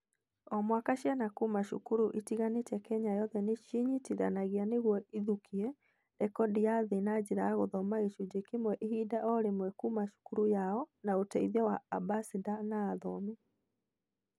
O mwaka, ciana kuuma cukuru itiganĩte Kenya yothe nĩ ciĩnyitithanagia nĩguo ithũkie rekondi ya thĩ na njĩra ya gũthoma gĩcunjĩ kĩmwe ihinda-inĩ o rĩmwe kuuma cukuru yao na ũteithio wa Ambassĩnda a Athomi